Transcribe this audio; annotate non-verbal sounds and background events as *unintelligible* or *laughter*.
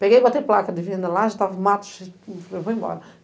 Peguei e botei placa de venda lá, já estava mato *unintelligible* eu vou embora.